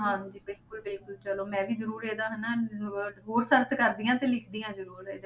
ਹਾਂਜੀ ਬਿਲਕੁਲ ਬਿਲਕੁਲ ਚਲੋ ਮੈਂ ਵੀ ਜ਼ਰੂਰ ਇਹਦਾ ਹਨਾ ਹੋਰ search ਕਰਦੀ ਹਾਂ ਤੇ ਲਿਖਦੀ ਹਾਂ ਜ਼ਰੂਰ ਇਹਦੇ,